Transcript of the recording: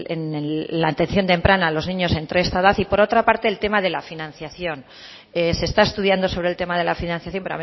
en la atención temprana a los niños entre esta edad y por otra parte el tema de la financiación se está estudiando sobre el tema de la financiación